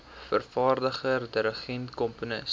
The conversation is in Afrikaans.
vervaardiger dirigent komponis